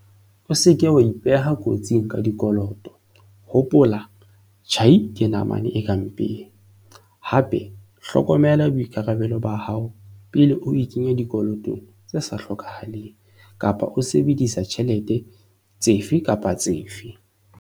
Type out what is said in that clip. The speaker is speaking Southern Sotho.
O se ke wa ipeha kotsing ka dikoloto. Hopola- 'Tjhai ke namane e ka mpeng, hape hlokomela boikarabelo ba hao pele o ikenya dikolotong tse sa hlokahaleng kapa o sebedisa ditjhelete efe kapa efe.